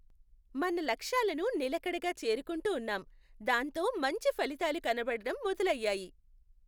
మన లక్ష్యాలను నిలకడగా చేరుకుంటూ ఉన్నాం, దాంతో మంచి ఫలితాలు కనపడటం మొదలయ్యాయి.